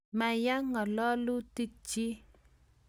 ma ya ng'alalutikchich